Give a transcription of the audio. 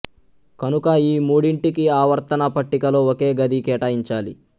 కనుక ఈ మూడింటికి ఆవర్తన పట్టికలో ఒకే గది కేటాయించాలి